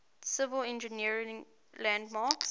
civil engineering landmarks